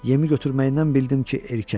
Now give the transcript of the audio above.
Yemi götürməyindən bildim ki, erkəkdir.